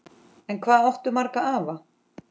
En hvað áttu marga afa?